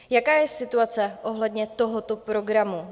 Jaká je situace ohledně tohoto programu?